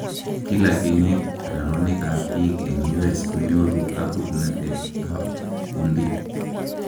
Kila kenyiit raroonik ab biik eng U.S konyoru kabuknatet ab kundit